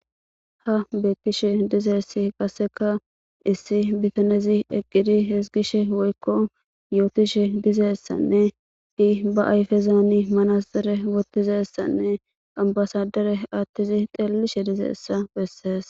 Ha beekkishe dizeessi qasseka issi bitanezi eqqidi hizgishe woykko yootishe dizeessanne ti ba ayfezaani manaszere wotizeessanne ambasadere attizi xeellishe dizeessa bessees.